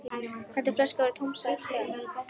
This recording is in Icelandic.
Þegar fyrri flaskan var tóm sagði Stjáni